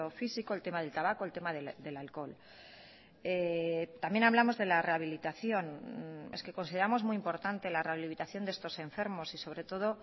físico el tema del tabaco el tema del alcohol también hablamos de la rehabilitación es que consideramos muy importante la rehabilitación de estos enfermos y sobre todo